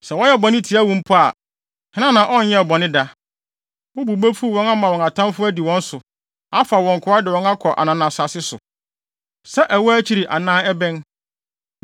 “Sɛ wɔyɛ bɔne tia wo mpo a, hena na ɔnyɛɛ bɔne da? Wo bo befuw wɔn ama wɔn atamfo adi wɔn so, afa wɔn nkoa de wɔn akɔ ananasase so, sɛ ɛwɔ akyiri anaa ɛbɛn.